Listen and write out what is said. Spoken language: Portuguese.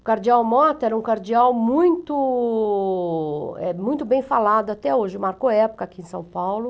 O cardeal Motta era um cardeal muito, eh, muito bem falado até hoje, marcou época aqui em São Paulo.